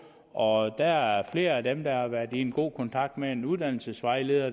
og der er flere af dem der har været i god kontakt med en uddannelsesvejleder